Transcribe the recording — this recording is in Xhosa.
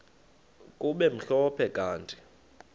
kube mhlophe kanti